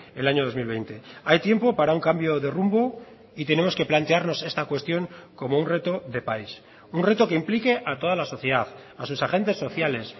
el año dos mil veinte hay tiempo para un cambio de rumbo y tenemos que plantearnos esta cuestión como un reto de país un reto que implique a toda la sociedad a sus agentes sociales